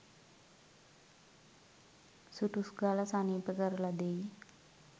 සුටුස් ගාල සනීප කරල දෙයි.